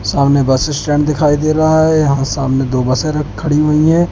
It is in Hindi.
सामने बस स्टैंड दिखाई दे रहा हैं यहाँ सामने दो बसें रख खड़ी हुई हैं।